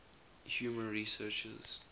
humor researchers